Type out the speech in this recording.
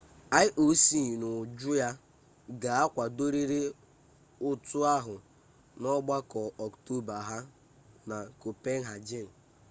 ioc n'uju ya ga akwadorịrị ụtụ ahụ n'ọgbakọ ọktoba ha na kopenhagen